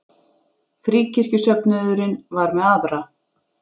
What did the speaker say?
Fríkirkjusöfnuðurinn var með aðra.